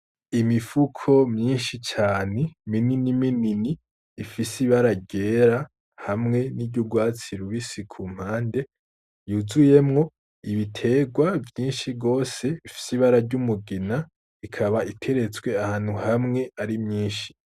Imifuko myinshi cane, minini minini ifise ibara ryera hamwe n’iry’urwatsi rubisi ku mpande, yuzuyemwo ibitegwa vyinshi gose bifise ibara ry’umugina ikaba iterekwse ahantu hamwe ari myinshi.